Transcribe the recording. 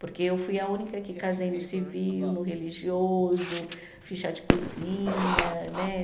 Porque eu fui a única que casei no civil, no religioso, fiz chá de cozinha, né?